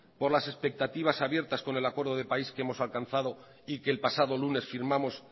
por las expectativas abiertas con el acuerdo de país que hemos alcanzado y que el pasado lunes firmamos